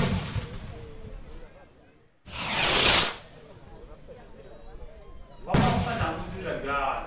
wa makgona o dira bjalo